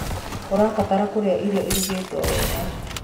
ũrabatara kurĩa irio irugitwo wega